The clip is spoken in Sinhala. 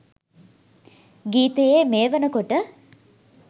ගීතයේ මේ වෙනකොට